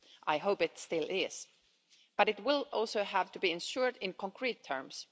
I hope it still is, but it will also have to be ensured in concrete terms.